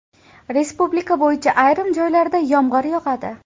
Respublika bo‘yicha ayrim joylarda yomg‘ir yog‘adi.